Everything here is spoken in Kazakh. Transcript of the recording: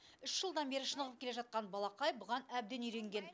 үш жылдан бері шынығып келе жатқан балақай бұған әбден үйренген